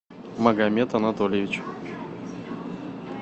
магомед анатольевич